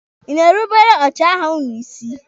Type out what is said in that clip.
Ị na-erubere ọchịagha ụnụ isi?